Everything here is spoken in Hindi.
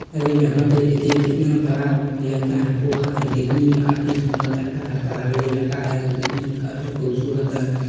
यहाँ पे देखिए कितना बड़ा लगता है पोखर है दिखने मे काफी सुंदर लगता है पहाड़ी इलाका है और दिखने मे काफी खूबसूरत है।